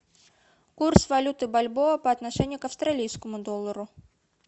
курс валюты бальбоа по отношению к австралийскому доллару